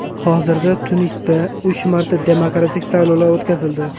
Hozirda Tunisda uch marta demokratik saylovlar o‘tkazildi.